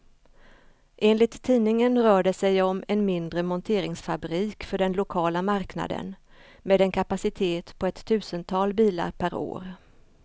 Enligt tidningen rör det sig om en mindre monteringsfabrik för den lokala marknaden, med en kapacitet på ett tusental bilar per år.